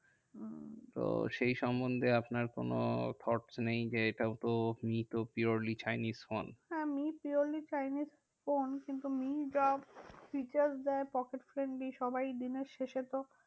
তো সেই সন্বন্ধে আপনার কোনো false নেই যে এইটাও মি তো purely chinese ফোন। হ্যাঁ মি purely chinese ফোন কিন্তু মি ড্রপ features দেয় pocket friendly সবাই দিনের শেষে তো